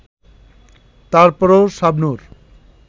তারপরও শাবনূর